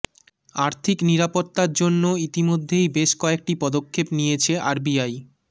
আর্থিক নিরাপত্তার জন্য ইতিমধ্যেই বেশ কয়েকটি পদক্ষেপ নিয়েছে আরবিআই